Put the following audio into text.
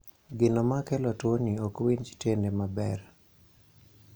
gino makelo tuoni okwinj tiende maber